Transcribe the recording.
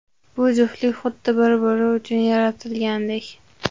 Bu juftlik xuddi bir-biri uchun yaratilgandek!